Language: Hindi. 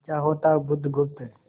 अच्छा होता बुधगुप्त